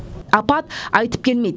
апат айтып келмейді